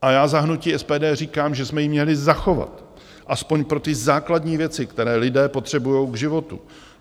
A já za hnutí SPD říkám, že jsme ji měli zachovat aspoň pro ty základní věci, které lidé potřebují k životu.